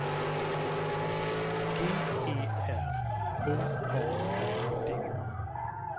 G E R H A R D